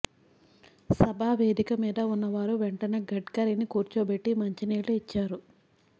సభా వేదిక మీద ఉన్నవారు వెంటనే గడ్కరీని కూర్చోబెట్టి మంచినీళ్లు ఇచ్చారు